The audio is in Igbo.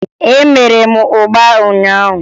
Emere m ụgba ụnyaahụ